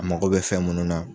A mago bɛ fɛn munnu na